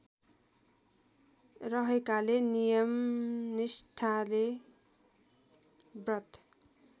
रहेकाले नियमनिष्ठाले व्रत